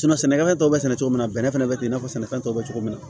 sɛnɛkɛfɛn tɔw bɛ sɛnɛ cogo min na bɛnɛ bɛ ten i n'a fɔ sɛnɛfɛn tɔw bɛ cogo min na